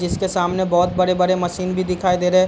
जिसके सामने बहुत बड़े-बड़े मशीन भी दिखाई दे रहे।